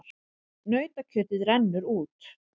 Nautakjötið rennur út